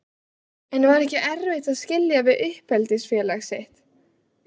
En var ekki erfitt að skilja við uppeldisfélag sitt?